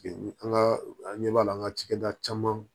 Bi an ka an ɲɛ b'a la an ka cikɛda caman